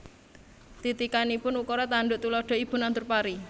Titikanipun Ukara tanduk tuladha Ibu nandur pari